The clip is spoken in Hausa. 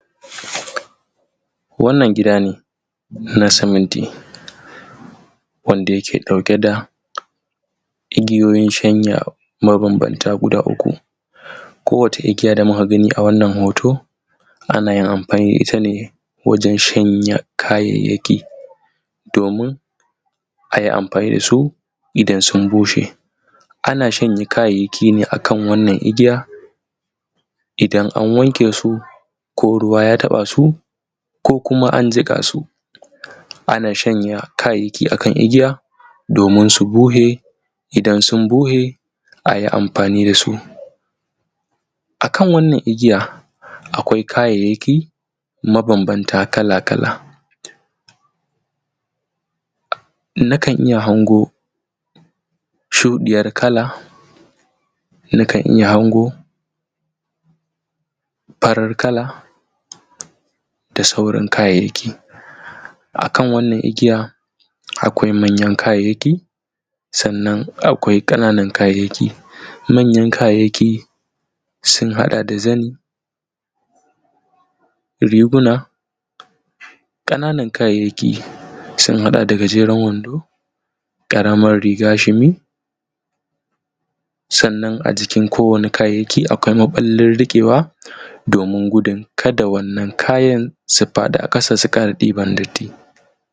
wannan gida ne na siminti wanda yake ɗauke da igiyoyin shanya mabanbanta guda uku ko wata igiya da muka gani a wannan hoto ana yin amfani da ita ne wajen shanya kayayyaki domin ayi amfani dasu idan sun bushe ana shanya kayayyaki ne akan wannan igiya idan an wanke su ko ruwa ya taba su ko kuma an jiƙa su ko kuma an jiƙa su ana shanya kayayyaki akan igiya domin su bushe idan sun bushe ayi amfani dasu akan wannan igiyar akwai kayayyaki mabanbanta kala-kala na kan iya hango shuɗiyar kala na kan iya hango farar kala da sauran kayayyaki akan wannan igiya akwai manyan kayayyaki sannan akwai ƙananan kayayyaki manyan kayayyaki sun haɗa da zani riguna ƙananan kayayyaki sun haɗa da gajeren wando ƙaramar riga shimi sannan a jikin kowani kayayyaki akwai maɓallin riƙewa domin gudun kada waɗannan kaya su faɗi a ƙasa su ƙara ɗiban